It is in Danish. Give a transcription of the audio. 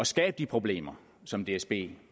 skabe de problemer som dsb